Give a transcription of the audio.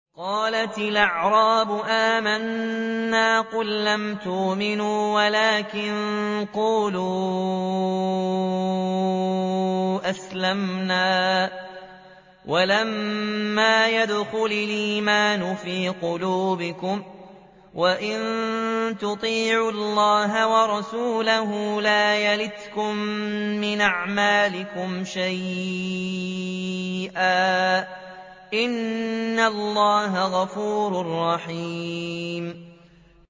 ۞ قَالَتِ الْأَعْرَابُ آمَنَّا ۖ قُل لَّمْ تُؤْمِنُوا وَلَٰكِن قُولُوا أَسْلَمْنَا وَلَمَّا يَدْخُلِ الْإِيمَانُ فِي قُلُوبِكُمْ ۖ وَإِن تُطِيعُوا اللَّهَ وَرَسُولَهُ لَا يَلِتْكُم مِّنْ أَعْمَالِكُمْ شَيْئًا ۚ إِنَّ اللَّهَ غَفُورٌ رَّحِيمٌ